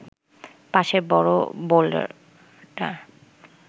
পাশের বড় বোল্ডারটার